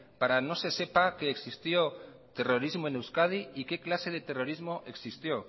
para que no se sepa que existió terrorismo en euskadi y qué clase de terrorismo existió